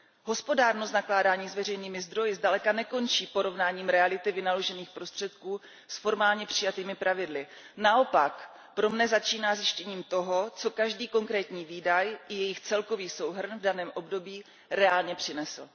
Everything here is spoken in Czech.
Hospodárnost nakládání s veřejnými zdroji zdaleka nekončí porovnáním reality vynaložených prostředků s formálně přijatými pravidly, naopak pro mne začíná zjištěním toho, co každý konkrétní výdaj i jejich celkový souhrn v daném období reálně přinesl.